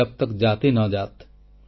job ତକ୍ ଜାତି ନ ଜାତ୍